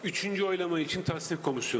Üçüncü səsvermə üçün təsdiq komissiyası.